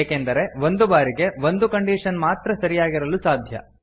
ಏಕೆಂದರೆ ಒಂದು ಬಾರಿಗೆ ಒಂದೇ ಕಂಡೀಶನ್ ಮಾತ್ರ ಸರಿಯಾಗಿರಲು ಸಾಧ್ಯ